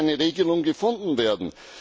Da muss eine Regelung gefunden werden.